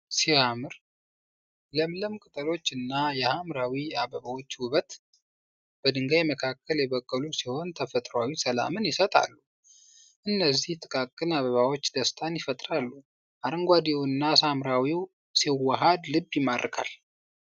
ሲያምር! ለምለም ቅጠሎችና የሐምራዊ አበባዎች ውበት! በድንጋይ መካከል የበቀሉ ሲሆን ተፈጥሯዊ ሰላምን ይሰጣሉ። እነዚህ ጥቃቅን አበባዎች ደስታን ይፈጥራሉ። አረንጓዴውና ሐምራዊው ሲዋሃድ ልብ ይማርካል።